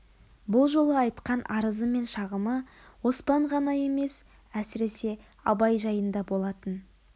бұл жолы айтқан арызы мен шағымы оспан ғана емес әсіресе абай жайында болатын